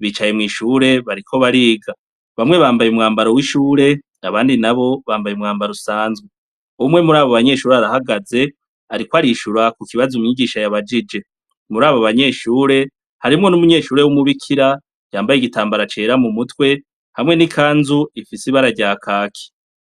bicaye mw'ishure, bariko bariga. Bamwe bambaye umwambaro w'ishure abandi nabo bambaye umwambaro usanzwe. Umwe muri abo banyeshure arahagaze, ariko arishura ku kibazo umwigisha yabajije. Muri aba banyeshure, harimwo n'umunyeshure w'umubikira yamabaye igitambara cera mu mutwe, hamwe n'ikanzu ifise ibara rya kaki.